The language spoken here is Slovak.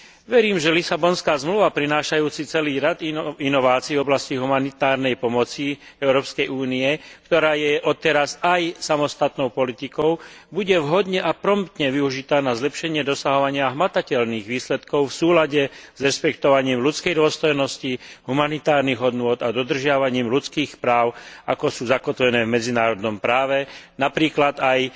Verím, že Lisabonská zmluva prinášajúca celý rad inovácií v oblasti humanitárnej pomoci Európskej únie, ktorá je odteraz aj samostatnou politikou, bude vhodne a promptne využitá na zlepšenie dosahovania hmatateľných výsledkov v súlade s rešpektovaním ľudskej dôstojnosti, humanitárnych hodnôt a dodržiavaním ľudských práv, ako sú zakotvené v medzinárodnom práve, napríklad aj